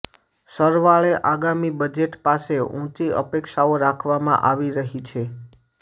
સરવાળે આગામી બજેટ પાસે ઊંચી અપેક્ષાઓ રાખવામાં આવી રહી છે